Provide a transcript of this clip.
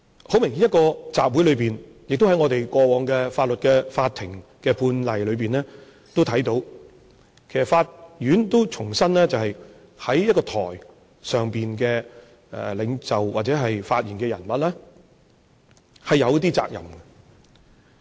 很明顯，在一個集會裏面，在過往法庭判例裏面都看到，法院也重申，一位在台上發言的領袖，或者發言的人物，他是有一些責任。